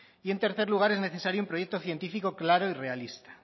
y en tercer lugar es necesario un proyecto científico claro y realista